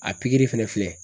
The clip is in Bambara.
A pikiri fɛnɛ filɛ